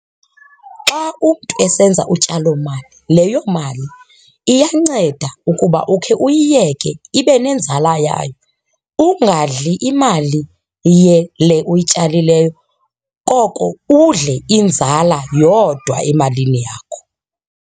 Xa umntu esenza utyalomali, leyo mali iyanceda ukuba ukhe uyiyeke ibe nenzala yayo. Ungadli imali le uyityalileyo koko udle inzala yodwa emalini yakho.